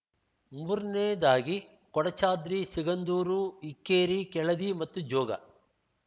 ಮೂರನೇದಾಗಿ ಕೊಡಚಾದ್ರಿ ಸಿಗಂದೂರು ಇಕ್ಕೇರಿ ಕೆಳದಿ ಮತ್ತು ಜೋಗ